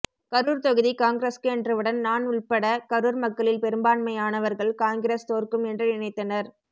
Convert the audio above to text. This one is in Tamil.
கரூர் தொகுதி காங்கிரஸ்க்கு எண்றவுடன் ணான் உள்பட கரூர் மக்களில் பெரும்பான்யானவர்கள் காங்கிரஸ் தோற்கும் என்று நினைத்த்னர்